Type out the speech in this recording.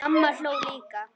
Mamma hló líka.